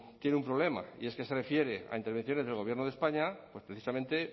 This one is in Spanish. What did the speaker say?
tiene un problema y es que se refiere a intervenciones del gobierno de españa pues precisamente